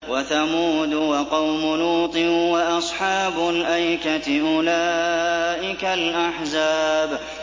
وَثَمُودُ وَقَوْمُ لُوطٍ وَأَصْحَابُ الْأَيْكَةِ ۚ أُولَٰئِكَ الْأَحْزَابُ